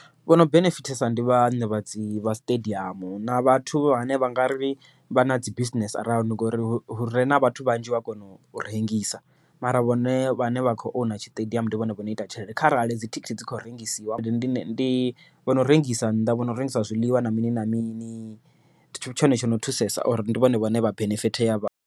Vhono benefitesa ndi vhaṋe vha dzi vha siṱediamu na vhathu vhane vha nga ri vha na dzi bisinese around ngori hure na vhathu vhanzhi ua kona u rengisa, mara vhone vhane vha kho own tshiṱediamu ndi vhone vho no ita tshelede. Kharali dzithikhithi dzi kho rengisiwa ndi ndi ndi vhono rengisa nnḓa vhono rengisa zwiḽiwa na mini na mini ndi tshone tshono thusesa uri ndi vhone vhane vha benefit ya vha.